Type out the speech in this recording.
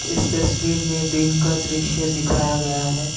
इस तस्वीर में दिन का दृश्य दिखाया गया है।